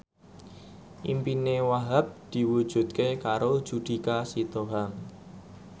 impine Wahhab diwujudke karo Judika Sitohang